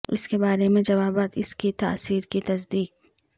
اس کے بارے میں جوابات اس کی تاثیر کی تصدیق